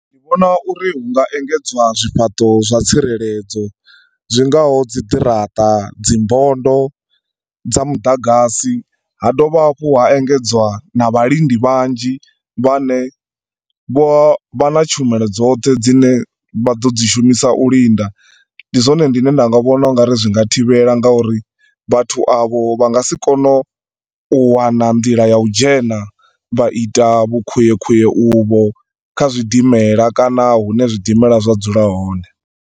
Ndi vhona uri hunga engedzwa zwifhaṱo zwa tsireledzo, zwingaho dziḓirata, dzimbondo dza muḓagasi. Ha dovha hafhu ha engedzwa na vhalindi vhanzhi vhane vho vha na tshumelo dzoṱhe dzine vha ḓo dzi shumisa u linda. Ndi zwone ndine nda nga vhona ungari zwi nga thivhela ngauri vhathu avho vha nga si kone u wana nḓila ya u dzhena vha ita vhu khwiekhwie uvho kha zwidimela kana hune zwidimela zwa dzula hone.